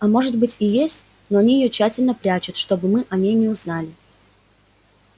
а может быть и есть но они её тщательно прячут чтобы мы о ней не узнали